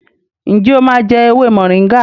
njé o má jé ewé Moringa?